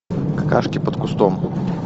какашки под кустом